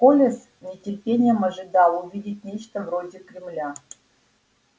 коля с нетерпением ожидал увидеть нечто вроде кремля